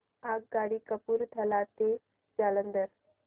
आगगाडी कपूरथला ते जालंधर